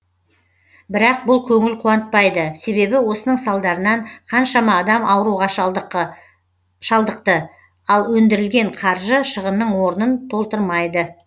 бірақ бұл көңіл қуантпайды себебі осының салдарынан қаншама адам ауруға шалдықты ал өндірілген қаржы шығынның орнын толтыр майды